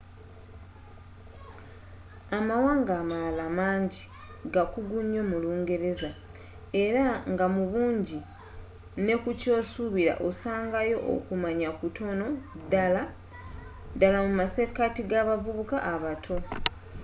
amawanga amalala mangi gakugu nyo mu lungereza era nga mu bungi nekukyosuubira osangayo okumanya kutono – naddala mumasekati gabavubuka abato